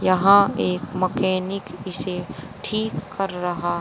यहां एक मैकेनिक इसे ठीक कर रहा--